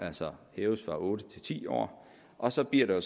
altså hæves fra otte til ti år og så bliver